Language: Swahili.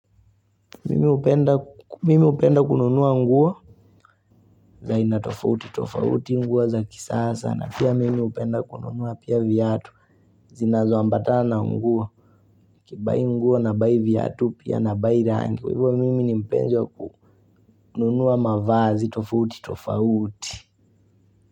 Mimi hupenda kununua nguo za aina tofauti, tofauti nguo za kisasa na pia mimi hupenda kununua pia viatu Zinazoambatana na nguo niKibai nguo nabai viatu pia na bai rangi Kwa hivyo mimi ni mpenzi wa kununua mavazi, tofauti, tofauti.